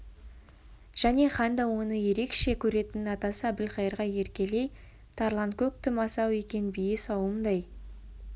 және хан да оны ерекше жақсы көретін атасы әбілқайырға еркелей тарланкөк тым асау екен бие сауымдай